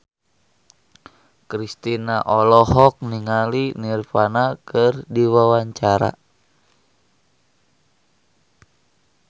Kristina olohok ningali Nirvana keur diwawancara